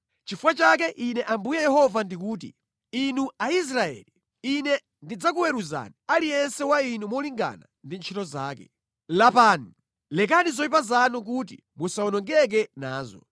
“Chifukwa chake Ine Ambuye Yehova ndikuti: inu Aisraeli, Ine ndidzakuweruzani aliyense wa inu molingana ndi ntchito zake. Lapani! Lekani zoyipa zanu kuti musawonongeke nazo.